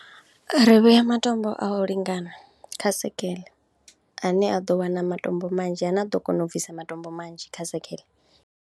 Ri vhea matombo a u lingana kha sekheḽe ane a ḓo wana matombo manzhi, ane a ḓo kona u bvisa matombo manzhi kha sekheḽe.